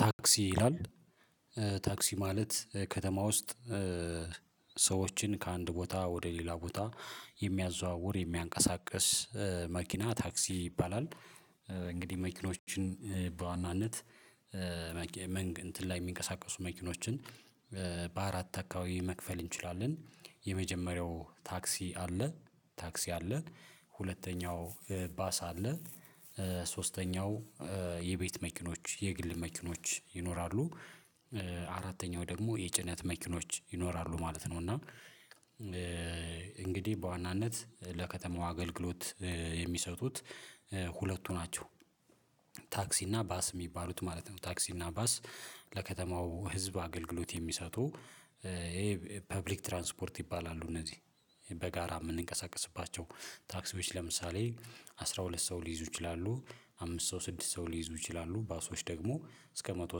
ታክሲ ይላል፣ ታክሲ ማለት ከተማ ውስጥ ሰዎችን ከአንድ ቦታ ወደ ሌላ ቦታ የሚያዘዋውር፣ የሚያንቀሳቅስ መኪና ታክሲ ይባላል። እንግዲህ መኪኖችን በዋናነት እንትን ላይ የሚንቀሳቀሱ መኪኖችን በአራት አካባቢ መክፈል እንችላለን። የመጀመሪያው ታክሲ አለ፣ ታክሲ አለ። ሁለተኛው ባሳ አለ። ሶስተኛው የቤት መኪኖች፣ የግል መኪኖች ይኖራሉ። አራተኛው ደግሞ የጭነት መኪኖች ይኖራሉ ማለት ነው። እና እንግዲህ በዋናነት ለከተማው አገልግሎት የሚሰጡት ሁለቱ ናቸው። ታክሲ እና ባስ የሚባሉት ማለት ነው። ታክሲ እና ባስ ለከተማው ህዝብ አገልግሎት የሚሰጡ ይሄ ፐብሊክ ትራንስፖርት ይባላሉ እነዚህ። በጋራ የምንንቀሳቀስባቸው ታክሲዎች ለምሳሌ አስራ ሁለት ሰው ሊይዙ ይችላሉ፣ አምስት ሰው ስድስት ሰው ሊይዙ ይችላሉ። ባሶች ደግሞ እስከ መቶ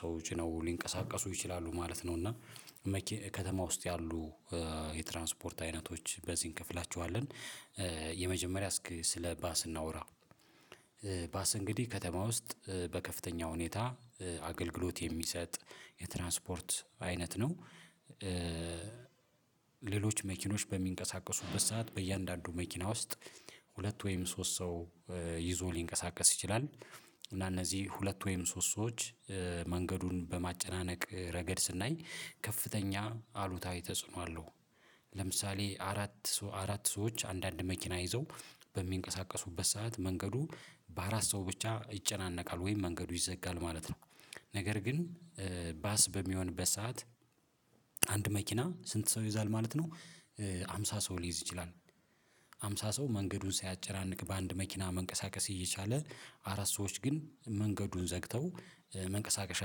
ሰዎች ጭነው ሊንቀሳቀሱ ይችላሉ ማለት ነው እና ከተማ ውስጥ ያሉ የትራንስፖርት አይነቶች በዚህ እንከፍላቸዋለን። የመጀመሪያ እስኪ ስለባስ እናውራ፣ ባስ እንግዲህ ከተማ ውስጥ በከፍተኛ ሁኔታ አገልግሎት የሚሰጥ የትራንስፖርት አይነት ነው። ሌሎች መኪኖች በሚንቀሳቀሱበት ሰዓት በእያንዳንዱ መኪና ውስጥ ሁለት ወይም ሶስት ሰው ይዞ ሊንቀሳቀስ ይችላል። እና እነዚህ ሁለት ወይም ሶስት ሰዎች መንገዱን በማጨናነቅ ረገድ ስናይ ከፍተኛ፣ አሉታዊ ተጽዕኖ አለው። ለምሳሌ አራት፣ አራት ሰዎች አንዳንድ መኪና ይዘው በሚንቀሳቀሱበት ሰዓት መንገዱ በአራት ሰው ብቻ ይጨናነቃል ወይም መንገዱ ይዘጋል ማለት ነው። ነገር ግን ባስ በሚሆን በሰአት አንድ መኪና ስንት ሰው ይዛል ማለት ነው? ሃምሳ ሰው ሊይዝ ይችላል፣ ሃምሳ ሰው መንገዱን ሲያጨራንቅ በአንድ መኪና መንቀሳቀስ እየቻለ አራት ሰዎች ግን መንገዱን ዘግተው መንቀሳቀሻ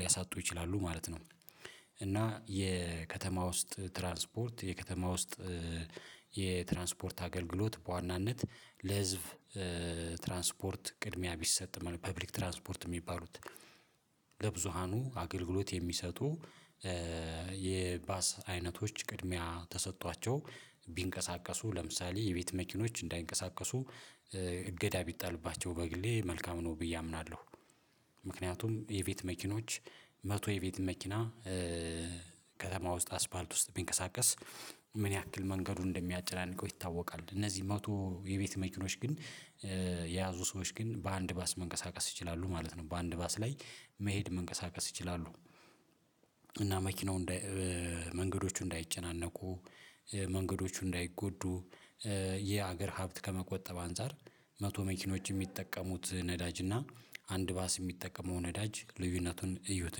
ሊያሳጡ ይችላሉ ማለት ነው። እና የከተማ ውስጥ ትራንስፖርት የከተማ ውስጥ የትራንስፖርት አገልግሎት በዋናነት ለህዝብ ትራንስፖርት ቅድሚያ ቢሰጥ ማለት፣ ፐብሊክ ትራንስፖርት የሚባሉት ለብዙኃኑ አገልግሎት የሚሰጡ የባስ አይነቶች ቅድሚያ ተሰጥቷቸው ቢንቀሳቀሱ፤ ለምሳሌ የቤት መኪኖች እንዳይንቀሳቀሱ እገዳ ቢጣልባቸው በግሌ መልካም ነው ብዬ አምናለሁ። ምክንያቱም የቤት መኪኖች መቶ የቤት መኪና ከተማ ውስጥ አስፋልት ውስጥ ቢንቀሳቀስ ምን ያክል መንገዱ እንደሚያጨናንቀው ይታወቃል። እነዚህ መቶ የቤት መችኖች ግን የያዙ ሰዎች ግን በአንድ ባስ መንቀሳቀስ ይችላሉ ማለት ነው። በአንድ ባስ ላይ መሄድ፣ መንቀሳቀስ ይችላሉ። እና መኪናው፣ መንገዶቹ እንዳይጨናነቁ መንገዶቹ እንዳይጎዱ፣ የአገር ሀብት ከመቆጠብ አንፃር፣ መቶ መኪኖች የሚጠቀሙት ነዳጅ እና አንድ ባስ የሚጠቀመው ነዳጅ ልዩነቱን እዩት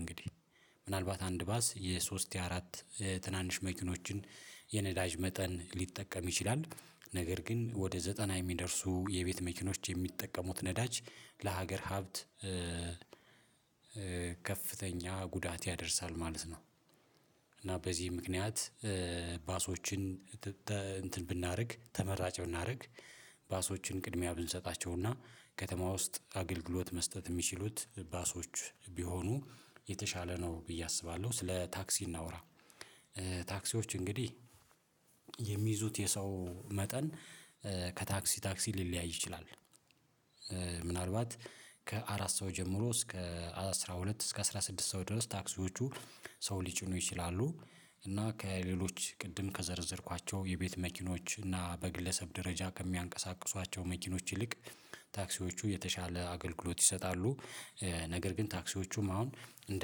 እንግዲህ፣ ምናልባት አንድ ባስ የሶስት፣ የአራት ትናንሽ መኪኖችን የነዳጅ መጠን ሊጠቀም ይችላል። ነገር ግን ወደ ዘጠና የሚደርሱ የቤት መኪኖች የሚጠቀሙት ነዳጅ ለሀገር ሀብት ከፍተኛ ጉዳት ያደርሳል ማለት ነው። እና በዚህ ምክንያት ባሶችን እንትን ብናደርግ፣ ተመራጭ ብናደርግ፣ ባሶችን ቅድሚያ ብንሰጣቸውና ከተማ ውስጥ አገልግሎት መስጠት የሚችሉት ባሶች ቢሆኑ የተሻለ ነው ብዬ አስባለሁ። ስለ ታክሲ እናውራ። ታክሲዎች እንግዲህ የሚይዙት የሰው መጠን ከታክሲ ታክሲ ሊለያይ ይችላል። ምናልባት ከአራት ሰው ጀምሮ እስከ አስራ ሁለት፣ እስከ አስራ ስድስት ሰው ድረስ ታክሲዎቹ ሰው ሊጭኑ ይችላሉ። እና ከሌሎች ቅድም ከዘረዘርኳቸው የቤት መኪኖች እና በግለሰብ ደረጃ ከሚያንቀሳቅሷቸው መኪኖች ይልቅ ታክሲዎቹ የተሻለ አገልግሎት ይሰጣሉ። ነገር ግን ታክሲዎቹም አሁን እንደ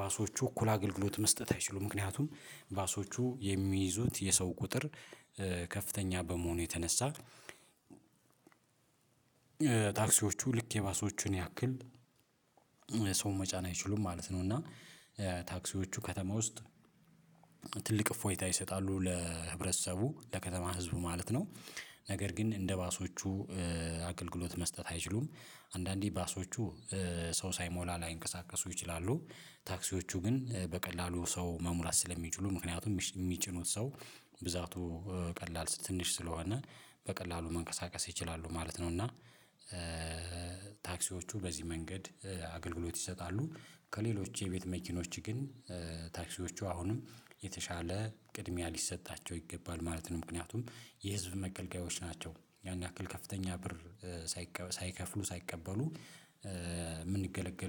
ባሶቹ እኩል አገልግሎት መስጠት አይችሉም። ምክንያቱም ባሶቹ የሚይዙት የሰው ቁጥር ከፍተኛ በመሆኑ የተነሳ ታክሲዎቹ ልክ የባሶቹን ያክል ሰው መጫን አይችሉም ማለት ነው። እና ታክሲዎቹ ከተማ ውስጥ ትልቅ እፎይታ ይሰጣሉ ለህብረተሰቡ፣ ለከተማ ህዝቡ ማለት ነው። ነገር ግን እንደ ባሶቹ አገልግሎት መስጠት አይችሉም። አንዳንዴ ባሶቹ ሰው ሳይሞላ ላይንቀሳቀሱ ይችላሉ። ታክሲዎቹ ግን በቀላሉ ሰው መሙላት ስለሚችሉ፣ ምክንያቱም የሚጭኑት ሰው ብዛቱ ቀላል፣ ትንሽ ስለሆነ በቀላሉ መንቀሳቀስ ይችላሉ ማለት ነው። እና ታክሲዎቹ በዚህ መንገድ አገልግሎት ይሰጣሉ። ከሌሎች የቤት መኪኖች ግን ታክሲዎቹ አሁንም የተሻለ ቅድሚያ ሊሰጣቸው ይገባል ማለት ነው። ምክንያቱም የህዝብ መገልገያዎች ናቸው። ያን ያክል ከፍተኛ ብር ሳይከፍሉ ሳይቀበሉ የምንገለገል